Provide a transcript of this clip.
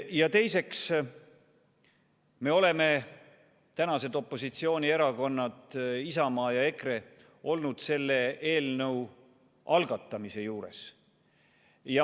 Ja teiseks, me – tänased opositsioonierakonnad Isamaa ja EKRE – oleme olnud selle eelnõu algatamise juures.